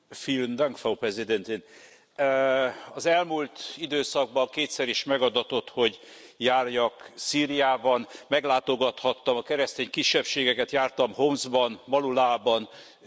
Az elmúlt időszakban kétszer is megadatott, hogy járjak Szíriában, meglátogathattam a keresztény kisebbségeket, jártam Homszban, Badullában, Aleppóban és Damaszkuszban is.